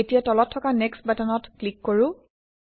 এতিয়া তলত থকা নেক্সট বাটনত ক্লিক কৰোঁ